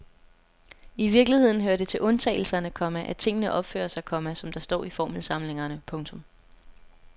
I virkeligheden hører det til undtagelserne, komma at tingene opfører sig, komma som der står i formelsamlingerne. punktum